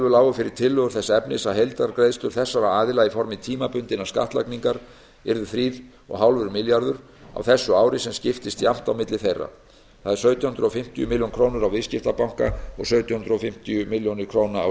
lágu fyrir tillögur þess efnis að heildargreiðslur þessara aðila í formi tímabundinnar skattlagningar yrðu þrjú komma fimm milljarðar á þessu ári sem skiptist jafnt á milli þeirra það er sautján hundruð fimmtíu milljónir króna á viðskiptabanka og sautján hundruð fimmtíu milljónir króna á